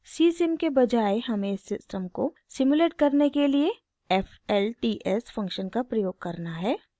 csim के बजाय हमें इस सिस्टम को सिमुलेट करने के लिए flts फंक्शन का प्रयोग करना है